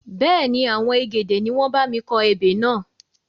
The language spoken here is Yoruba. Bẹ́ẹ̀ni, àwọn egede ni wọn bámi kọ ebè náà.